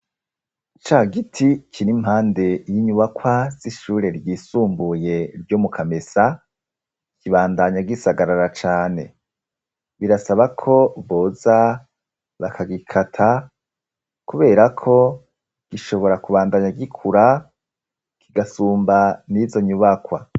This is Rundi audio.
Ca giti kiri impande y'inyubakwa z'ishure ryisumbuye ryo mu Kamesa, kibandanya gisagarara cane. Birasaba ko boza bakagikata kubera ko gishobora kubandanya gikura kigasumba n'izo nyubakwa.